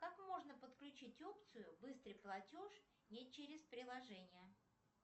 как можно подключить опцию быстрый платеж не через приложение